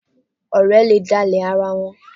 Ọ̀rẹ́ le dálẹ̀ ara wọn.